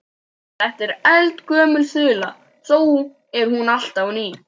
Þetta er eldgömul þula þó er hún alltaf ný.